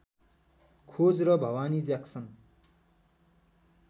खोज र भवानी ज्याक्सन